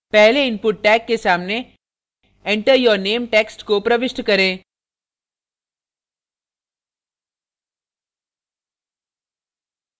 पहले input tag के सामने enter your name text को प्रविष्ट करें